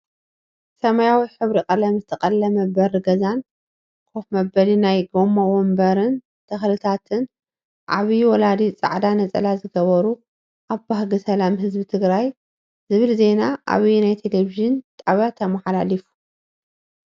ሰሓያዊ ሕብሪ ቀለም ዝተቀለመ በሪ ገዛን ከፍ መበሊ ናይ ጎማ ወንበርን ተክልታትን ዓብይ ወላዲ ፃዕዳ ነፀላ ዝገበሩ ኣብ ባህጊ ሰላም ህዝቢ ትግራይ ዝብል ዜና ኣበየናይ ቴሌቭንጣብያ ተመሓላሊፉ?